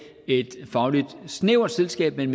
et fagligt snævert selskab men